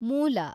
ಮೂಲ